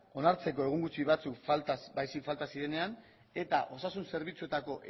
onartzeko egun gutxi batzuk falta zirenean eta osasun zerbitzuetako